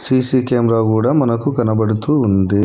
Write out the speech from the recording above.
C C camera కూడా మనకు కనబడుతూ ఉంది.